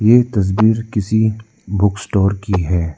ये तस्वीर किसी बुक स्टोर की है।